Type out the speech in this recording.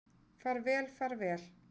Far vel, far vel.